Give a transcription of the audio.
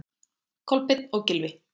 Kolbeinn og Gylfi.